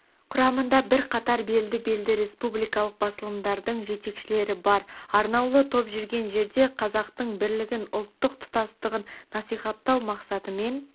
құрамында бірқатар белді-белді республикалық басылымдардың жетекшілері бар арнаулы топ жүрген жерде қазақтың бірлігін ұлттық тұтастығын насихаттау мақсатымен